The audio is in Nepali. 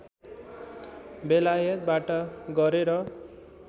बेलायतबाट गरे र